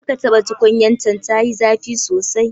Karka taɓa tukunyar can, tayi zafi sosai.